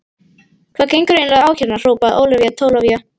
Hvað gengur eiginlega á hérna hrópaði Ólafía Tólafía.